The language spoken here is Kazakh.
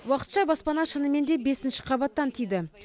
уақытша баспана шынымен де бесінші қабаттан тиді